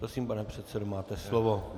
Prosím, pane předsedo, máte slovo.